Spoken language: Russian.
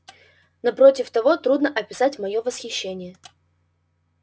на против того трудно описать моё восхищение